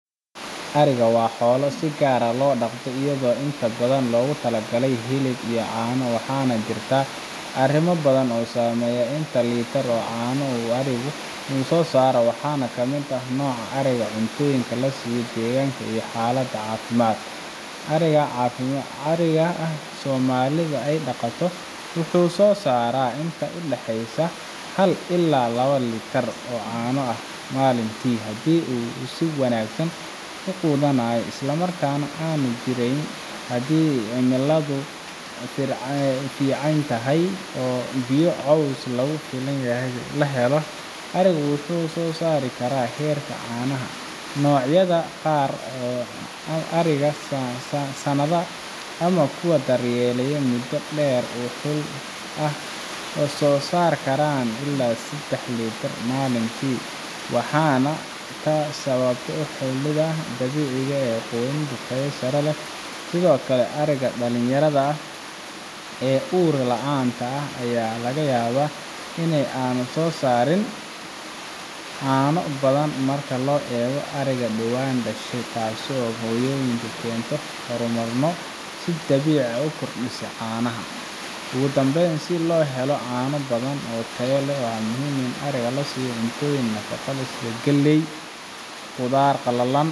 ariga waa xoolo si gaar ah loo dhaqdo iyadoo inta badan loogu talagalay hilib iyo caano waxaana jirta arimo badan oo saameeya inta liter ee caano ah uu arigu soo saaro waxaana ka mid ah nooca ariga, cuntooyinka la siiyo, deegaanka, iyo xaaladda caafimaad ariga caadiga ah ee soomaalida ay dhaqato wuxuu soo saaraa inta u dhexeysa hal ilaa laba liter oo caano ah maalintii haddii uu si wanaagsan u quudanayo islamarkaana aanu jirranayn haddii cimiladu fiicantahay oo biyo iyo caws lagu filan yahay la helo arigu wuxuu sare u qaadaa heerka caanaha noocyada qaar sida ariga saanada ama kuwa la daryeelayay muddo dheer oo xul ah waxay soo saari karaan ilaa saddex liter maalintii waxaana taa sabab u ah xulidda dabiiciga ah iyo quudin tayo sare leh sidoo kale ariga dhalinyarada ah ee uur la’aanta ah ayaa laga yaabaa in aanay soo saarin caano badan marka loo eego ariga dhowaan dhashay taasoo ay hooyonimada keento hormoonnada si dabiici ah u kordhiya caanaha ugu dambayn si loo helo caano badan oo tayo leh waa muhiim in ariga la siiyo cunto nafaqo leh sida galley, qudaar qalalan